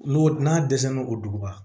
N'o n'a dɛsɛ n'o o duguba